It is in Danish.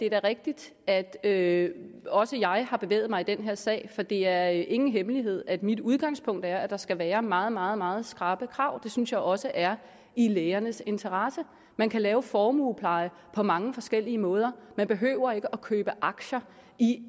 er rigtigt at at også jeg har bevæget mig i den her sag for det er ingen hemmelighed at mit udgangspunkt er at der skal være meget meget meget skrappe krav det synes jeg også er i lægernes interesse man kan lave formuepleje på mange forskellige måder man behøver ikke købe aktier i